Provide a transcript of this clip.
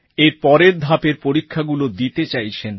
এর পরের ধাপের পরীক্ষাগুলো দিতে চাইছেন